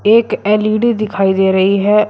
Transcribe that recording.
एक एल_ई_डी दिखाई दे रही है।